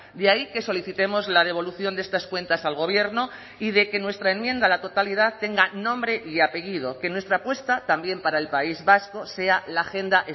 de ahí que solicitemos la devolución de estas cuentas al gobierno y de que nuestra enmienda a la totalidad tenga nombre y apellido que nuestra apuesta también para el país vasco sea la agenda